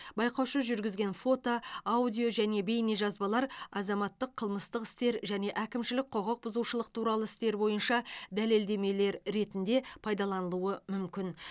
байқаушы жүргізген фото аудио және бейнежазбалар азаматтық қылмыстық істер және әкімшілік құқық бұзушылық туралы істер бойынша дәлелдемелер ретінде пайдаланылуы мүмкін